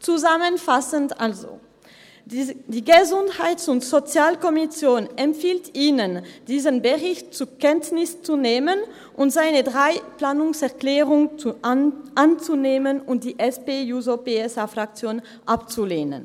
Zusammenfassend also: Die GSoK empfiehlt Ihnen, diesen Bericht zur Kenntnis zu nehmen und ihre drei Planungserklärungen anzunehmen und die der SP-JUSO-PSA-Fraktion abzulehnen.